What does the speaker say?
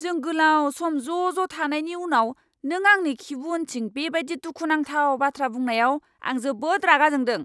जों गोलाव सम ज' ज' थानायनि उनाव नों आंनि खिबु उनथिं बेबायदि दुखु नांथाव बाथ्रा बुंनायाव आं जोबोद रागा जोंदों।